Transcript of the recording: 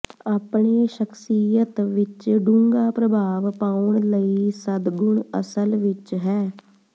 ਆਪਣੇ ਸ਼ਖਸੀਅਤ ਵਿਚ ਡੂੰਘਾ ਪ੍ਰਭਾਵ ਪਾਉਣ ਲਈ ਸਦਗੁਣ ਅਸਲ ਵਿਚ ਹੈ